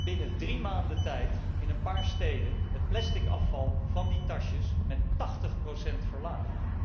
Binnen drie maanden tijd werd in een paar steden het plastic afval van die tasjes met 80 verlaagd.